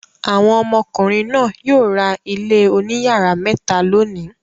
Àwọn ọmọkùnrin náà yóò ra ilé oníyàrá mẹ́ta lónìí.